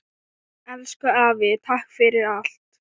Elsku afi, takk fyrir allt.